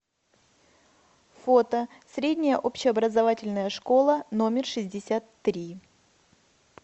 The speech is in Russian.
фото средняя общеобразовательная школа номер шестьдесят три